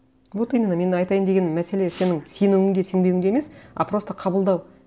вот именно мен айтайын деген мәселе сенің сенуіңде сенбеуіңде емес а просто қабылдау